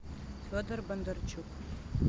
федор бондарчук